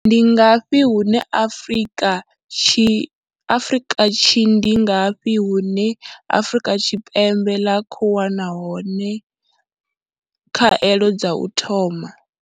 Ndi ngafhi hune Afrika Tshi ndi ngafhi hune Afrika Tshi pembe ḽa khou wana hone pembe ḽa khou wana hone khaelo dza u thoma?